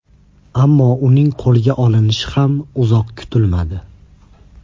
Ammo uning qo‘lga olinishi ham uzoq kutilmadi.